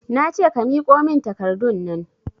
Nace ka miƙo min takardunnan